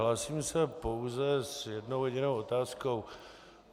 Hlásím se pouze s jednou jedinou otázkou.